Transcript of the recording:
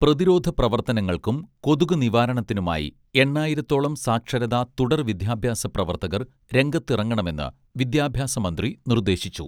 പ്രതിരോധ പ്രവർത്തനങ്ങൾക്കും കൊതുകു നിവാരണത്തിനുമായി എണ്ണായിരത്തോളം സാക്ഷരതാ തുടർ വിദ്യാഭ്യാസ പ്രവർത്തകർ രംഗത്തിറങ്ങണമെന്ന് വിദ്യാഭ്യാസമന്ത്രി നിർദ്ദേശിച്ചു